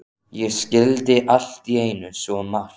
Ég skildi allt í einu svo margt.